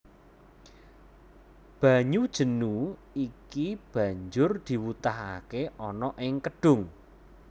Banyu jenu iki banjur diwutahake ana ing kedhung